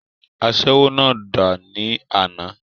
asẹ́wó náà dà ní àná?